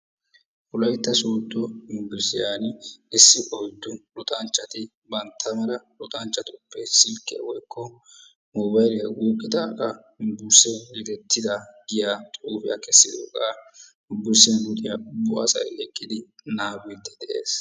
Wolaytta sodo yunburushiyaan issi oyddu luxxanchchati bantta mala luxxanchchatuppe silkkiyaa woykko mobayliyaa wuuqqidaagaa yunburusee yedettidaa giyaa xuufiyaa kessidooga yunburusiyaa luxiyaa ubba asay eqqidi naagidi dees.